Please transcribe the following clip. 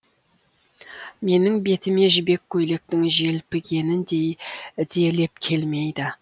менің бетіме жібек көйлектің желпігеніндей де леп келмейді